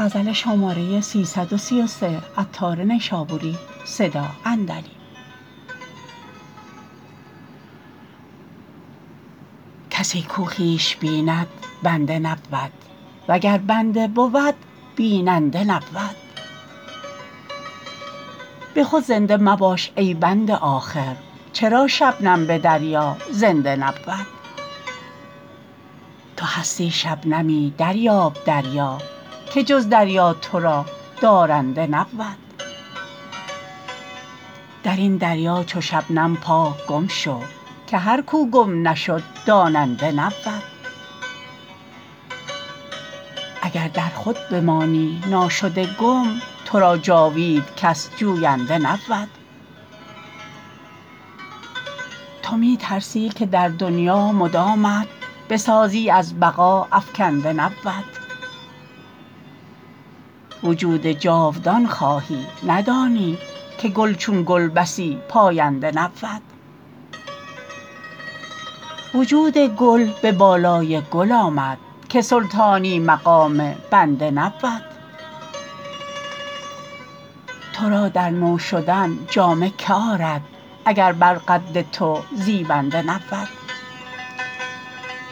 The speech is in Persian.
کسی کو خویش بیند بنده نبود وگر بنده بود بیننده نبود به خود زنده مباش ای بنده آخر چرا شبنم به دریا زنده نبود تو هستی شبنمی دریاب دریا که جز دریا تو را دارنده نبود درین دریا چو شبنم پاک گم شو که هر کو گم نشد داننده نبود اگر در خود بمانی ناشده گم تو را جاوید کس جوینده نبود تو می ترسی که در دنیا مدامت بسازی از بقا افکنده نبود وجود جاودان خواهی ندانی که گل چون گل بسی پاینده نبود وجود گل به بالای گل آمد که سلطانی مقام بنده نبود تورا در نو شدن جامه که آرد اگر بر قد تو زیبنده نبود